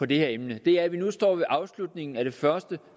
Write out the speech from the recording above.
det her emne er at vi nu står ved afslutningen af regeringens første